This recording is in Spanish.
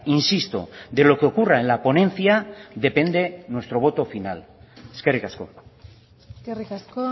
insisto de lo que ocurra en la ponencia depende nuestro voto final eskerrik asko eskerrik asko